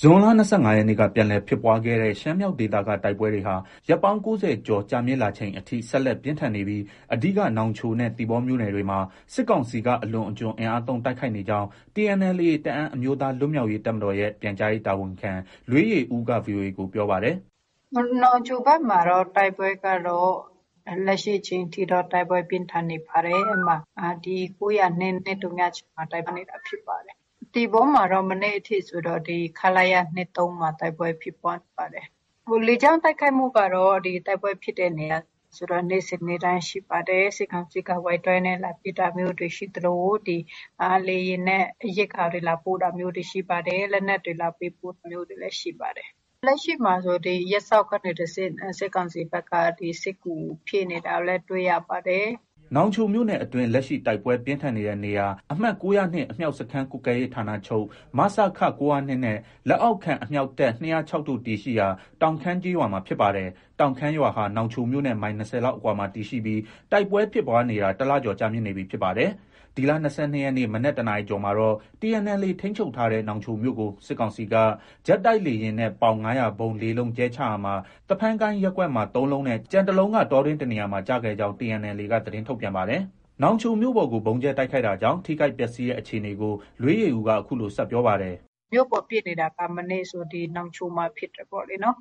ဇွန်လ ၂၅ရက်နေ့က ပြန်လည်ဖြစ်ပွားခဲ့တဲ့ ရှမ်းမြောက်ဒေသက တိုက်ပွဲတွေဟာ ရက်ပေါင်း ၉၀ကျော် ကြာမြင့်လာချိန်အထိ ဆက်လက် ပြင်းထန်နေပြီး အဓိက နောင်ချိုနဲ့ သီပေါမြို့နယ်တွေ မှာ စစ်ကောင်စီက အလွန်အကျွံအင်အားသုံး တိုက်ခိုက်နေကြောင်း TNLA တအန်းအမျိုးသား လွတ်မြောက်ရေးတပ်မတော်ရဲ့ ပြန်ကြားရေးတာဝန်ခံ လွေးယေဦးက VOA ကို ပြောပါတယ်။ “နောင်ချိုဘက်မှာတော့ တိုက်ပွဲကတော့ လက်ရှိအချိန်ထိတော့ တိုက်ပွဲပြင်းထန်နေပါတယ်။ ဒီ ၉၀၂နဲ့ ၂၀၆မှာ ဖြစ်ပါတယ်။ သီပေါမှာတော့ မနေ့အထိဆိုတော့ ခလရ ၂၃ မှာ တိုက်ပွဲ ဖြစ်ပွားနေပါတယ်။ လေကြောင်း တိုက်ခိုက်မှုကတော့ တိုက်ပွဲဖြစ်တဲ့နေရာဆိုတော့ နေ့စဉ်နေ့တိုင်း ရှိပါတယ်။ စစ်ကောင်စီက Y 12 နဲ့ လာပစ်တာမျိုးတွေ ရှိသလို ဒီ လေယာဉ်နဲ့ ရိက္ခာတွေ လာပို့တာမျိုးတွေ ရှိပါတယ်။ လက်နက်တွေ လာပေးပို့တာမျိုးတွေလည်း ရှိပါတယ်။ လက်ရှိမှာဆို ရပ်စောက်ကနေတဆင့် စစ်ကောင်စီဘက်က စစ်ကူဖြည့်နေတာကိုလည်း တွေ့ရပါတယ်။” နောင်ချိုမြို့နယ်အတွင်း လက်ရှိ တိုက်ပွဲပြင်းထန်နေတဲ့နေရာ အမှတ် ၉၀၂ အမြောက်စခန်းကွပ်ကဲရေးဌာနချုပ် မစခ ၉၀၂ နဲ့ လက်အောက်ခံ အမြောက်တပ် ၂၀၆ တို့ တည်ရှိရာ တောင်ခမ်း ကျေးရွာမှာဖြစ်ပါတယ်။ တောင်ခမ်းရွာဟာ နောင်ချိုမြို့နဲ့ မိုင် ၂၀လောက်အကွာမှာ တည်ရှိပြီး တိုက်ပွဲဖြစ်ပွားနေတာ တလကျော် ကြာမြင့်နေပြီ ဖြစ်ပါတယ်။ ဒီလ ၂၂ရက်နေ့ မနက် ၁နာရီကျော်မှာတော့ TNLA ထိန်းချုပ်ထားတဲ့ နောင်ချိုမြို့ကို စစ်ကောင်စီက ဂျက်တိုက်လေယာဉ်နဲ့ ပေါင် ၅၀၀ဗုံး ၄လုံးကြဲချရာမှာ သဖန်းကိုင်းရပ်ကွက်မှာ ၃လုံးနဲ့ ကျန်တလုံးက တောတွင်းတနေရာမှာ ကျခဲ့ကြောင်း TNLA က သတင်းထုတ်ပြန်ပါတယ်။ နောင်ချိုမြို့ပေါ်ကို ဗုံးကြဲ တိုက်ခိုက်တာကြောင့် ထိခိုက်ပျက်ဆီးတဲ့အခြေအနေကို လွေးယေဦးက အခုလို ဆက်ပြောပါတယ်။ “ မြို့ပေါ်ပစ်နေတာက မနေ့ကဆို နောင်ချိုမှာဖြစ်တယ်ပေါ့လေ။ နောင်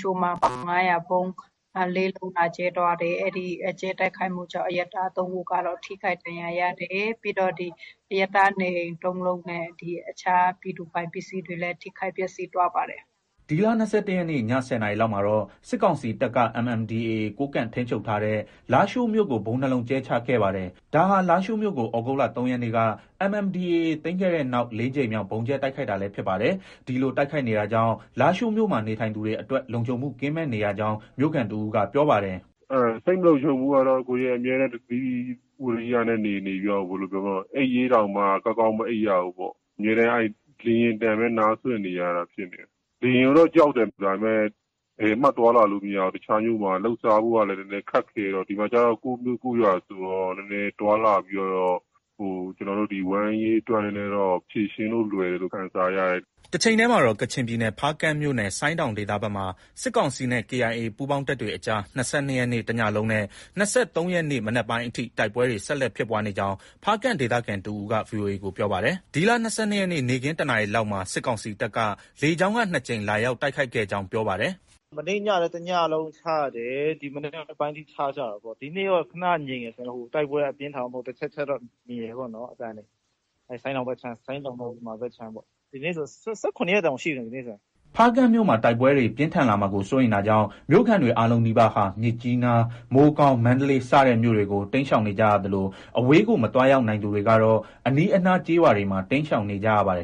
ချိုမှာ ပေါင် ၅၀၀ဗုံး ၄လုံး လာကြဲသွားတယ်။ အဲဒီတိုက်ခိုက်မှုကြောင့် အရပ်သား ၃ဦးကတော့ ထိခိုက်ဒဏ်ရာရတယ်။ ပြီးတော့ အရပ်သား နေအိမ် ၃လုံးနဲ့ အခြား ပြည်သူပိုင်ပစ္စည်းတွေလည်း ထိခိုက် ပျက်ဆီးသွားပါတယ်။ ” ဒီလ ၂၁ရက်နေ့ ည ၁၀လောက်မှာတော့ စစ်ကောင်စီတပ်က MNDAA ကိုးကန့်တပ်ထိန်းချုပ်ထားတဲ့ လားရှိုးမြို့ကို ဗုံး ၂လုံးကြဲချခဲ့ပါတယ်။ ဒါဟာ လားရှိုးမြို့ကို သြဂုတ်လ ၃ရက်နေ့က MNDAA သိမ်းခဲ့တဲ့နောက် ၄ကြိမ်မြောက် ဗုံးကြဲတိုက်ခိုက်တာလည်း ဖြစ်ပါတယ်။ ဒီလိုတိုက်ခိုက်နေတာကြောင့် လားရှိုးမြို့မှာ နေထိုင်နေသူတွေအတွက် လုံခြုံမှုကင်းမဲ့နေရကြောင်း မြို့ခံတဦးက ပြောပါတယ်။ “ စိတ်လုံခြုံမှုကတော့ အမြဲတမ်းသတိ၊ ဝိရိယနဲ့ နေနေပြီး အိပ်ရေးတောင်မှ ကောင်းကောင်း မအိပ်ရဘူးပေါ့။ အမြဲတမ်းလေယာဉ်သံပဲ နားစွင့်နေရတာ ဖြစ်နေတယ်။ လေယာဉ်ကိုတော့ ကြောက်တယ်။ ဒါပေမဲ့ ဘယ်မှ သွားလာလို့ မရဘူး။ တခြားမြို့မှာ လုပ်စားဖို့ကလည်း ခက်ခဲတော့၊ ဒီမှာကျတော့ ကိုယ့်မြို့ကိုယ်ရွာဆိုတော့ နည်းနည်း သွားလာပြီးတော့ ကျနော်တို့ ဝမ်းရေးအတွက် ဖြေရှင်းလို့ လွယ်တယ်လို့ ခံစားရတယ်။ ” တချိန်တည်းမှာတော့ ကချင်ပြည်နယ် ဖားကန့်မြို့နယ် ဆိုင်းတောင်ဒေသဘက်မှာ စစ်ကောင်စီနဲ့ KIA ပူးပေါင်းတပ်တွေအကြား ၂၂ရက်နေ့ တညလုံးနဲ့ ၂၃ရက်နေ့ မနက်ပိုင်းအထိ တိုက်ပွဲတွေ ဆက်လက် ဖြစ်ပွားနေကြောင်း ဖားကန့်ဒေသခံတဦးက ဗွီအိုအေကို ပြောပါတယ်။ “ မနေ့ညကလည်း တညလုံးချတယ်။ ဒီနေ့ မနက်ပိုင်းအထိ ချကြတာပေါ့။ ဒီနေ့တော့ ခန ငြိမ်တယ်။တိုက်ပွဲက အပြင်းအထန်တော့ မဟုတ်ဘူး။ တချက် တချက်တော့ မြည်တယ်ပေါ့နော် အသံတွေ။ ဆိုင်းတောင်ဘက်ခြမ်း။ ဆိုင်းတောင်နဲ့ ယူမာဘက်ခြမ်းပေါ့။ ဒီနေ့ဆို ၁၇ရက်တောင်ရှိပြီ။ ” ဒီလ ၂၂ရက်နေ့ နေ့ခင်း ၁နာရီလောက်မှာ စစ်ကောင်စီတပ်က လေကြောင်းက ၂ကြိမ်လာရောက် တိုက်ခိုက်ခဲ့ကြောင်း ပြောပါတယ်။ ဖားကန့်မြို့မှာ တိုက်ပွဲတွေ ပြင်းထန်လာမှာကို စိုးရိမ်တာကြောင့် မြို့ခံတွေအားလုံးနီးပါးဟာ မြစ်ကြီးနား၊ မိုးကောင်း၊ မန္တလေး စတဲ့မြို့တွေကို တိမ်းရှောင်နေကြသလို အဝေးကို မသွားရောက်နိုင်သူတွေကတော့ အနီးအနား ကျေးရွာတွေမှာ တိမ်းရှောင်နေကြပါတယ်